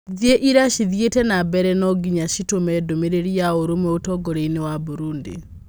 Thĩ iria cithiĩte na mbere no ngĩnya citũme ndũmĩrĩri ya ũrũmwe ũtongoriainĩ wa Burudi.